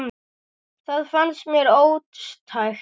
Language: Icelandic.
Það fannst mér ótækt.